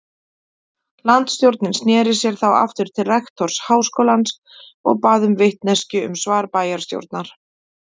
Landsstjórnin sneri sér þá aftur til rektors háskólans og bað um vitneskju um svar bæjarstjórnar.